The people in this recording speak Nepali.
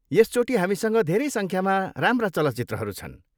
यसचोटि हामीसँग धेरै सङ्ख्यामा राम्रा चलचित्रहरू छन्।